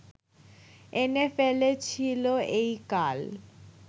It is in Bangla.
এনে ফেলেছিল এই কাল